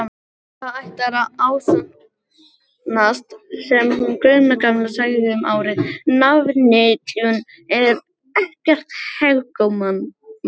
Það ætlar að ásannast sem hún Gunna gamla sagði um árið: nafnvitjun er ekkert hégómamál.